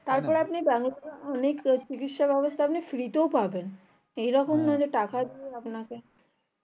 তারপরে আপনি ব্যবস্থা অনেক চিকিৎসা ব্যবস্থা অনেক free তে পাবেন এইরকম